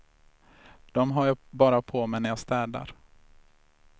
Dem har jag bara på mig när jag städar.